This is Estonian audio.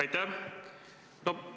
Aitäh!